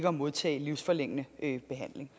at modtage livsforlængende behandling